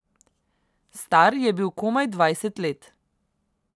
Star je bil komaj dvajset let.